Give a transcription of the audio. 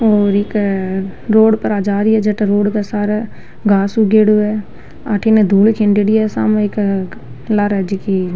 और एका रोड पर जा रही है जेका रोड पर सारा घास उगेडो है अठीने धूल खंडेड़ी है सामे एक लारे जकी --